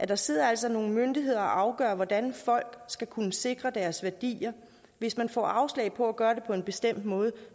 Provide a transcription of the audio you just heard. der sidder altså nogle myndigheder og afgør hvordan folk skal kunne sikre deres værdier hvis man får afslag på at gøre det på en bestemt måde